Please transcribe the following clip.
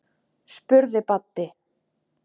spurði Baddi.